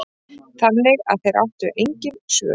Þannig að þeir áttu engin svör.